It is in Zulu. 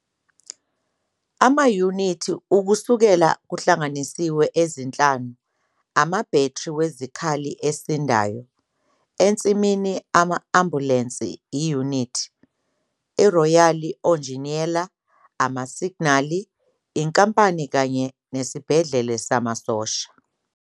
Amayunithi Ukusekela kuhlanganisiwe ezinhlanu amabhethri wezikhali esindayo, a ensimini ambulensi iyunithi, a Royal Onjiniyela amasignali inkampani kanye esibhedlela samasosha.